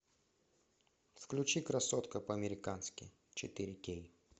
включи красотка по американски четыре кей